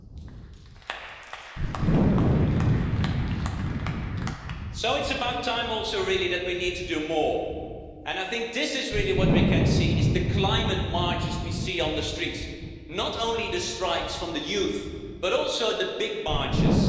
So it really is about time also that we need to do more and I think this is really what we can see it's the climate marches we see on the streets, not just the strikes by the youth, but also the big marches.